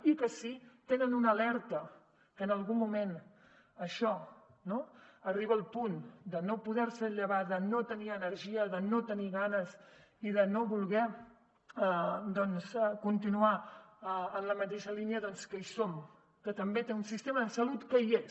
i que si tenen una alerta que en algun moment això no arriba al punt de no poder se llevar de no tenir energia de no tenir ganes i de no voler doncs continuar en la mateixa línia doncs que hi som que també té un sistema de salut que hi és